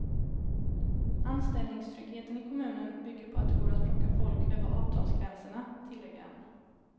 Anställningstryggheten i kommunen bygger på att det går att plocka folk över avtalsgränserna, tillägger han.